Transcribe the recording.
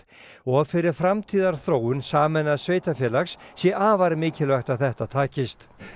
og fyrir framtíðarþróun sameinaðs sveitarfélags sé afar mikilvægt að þetta takist